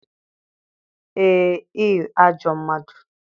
Ee, ị ajọ mmadụ